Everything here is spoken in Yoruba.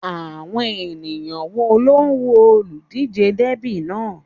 Àwọn èèyàn wo ló ń wo olùdíjé dẹ́bì náà?